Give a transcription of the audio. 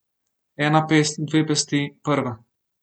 Ena pest, dve pesti, prva.